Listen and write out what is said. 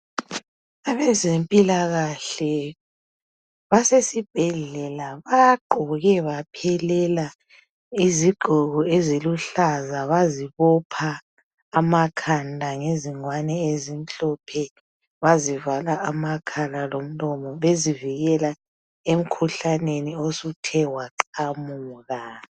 Abezempilakahle basesibhedlela bagqoke baphelela izigqoko eziluhlaza bazibopha amakhanda ngezingwane ezimhlophe bazivala amakhala lomlomo bezivikela emkhuhlaneni osuthe waqamuka.